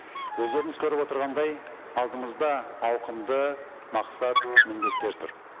өздеріңіз көріп отырғандай алдымызда ауқымды мақсат міндеттер тұр